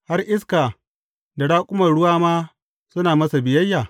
Har iska da raƙuman ruwa ma suna masa biyayya!